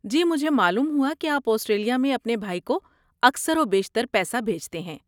جی، مجھے معلوم ہوا کہ آپ آسٹریلیا میں اپنے بھائی کو اکثر و بیشتر پیسہ بھیجتے ہیں۔